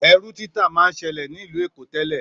Èrú títà má n sèlè ni ìlú Èkó tèlè